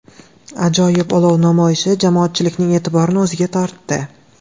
Ajoyib olov namoyishi jamoatchilikning e’tiborini o‘ziga tortdi!